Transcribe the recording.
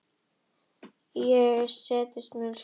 Ég segist munu hringja.